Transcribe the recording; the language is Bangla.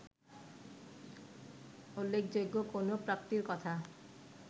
উল্লেখযোগ্য কোন প্রাপ্তির কথা